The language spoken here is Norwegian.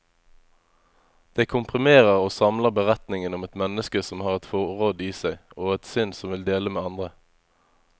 Det komprimerer og samler beretningen om et menneske som har et forråd i seg, og et sinn som vil dele med andre.